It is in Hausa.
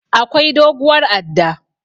Akwai doguwar adda.